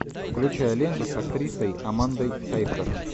включай ленту с актрисой амандой сайфред